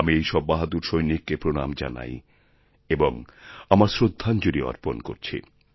আমি এই সব বাহাদুর সৈনিককে প্রণাম জানাই এবং আমার শ্রদ্ধাঞ্জলি অর্পণ করছি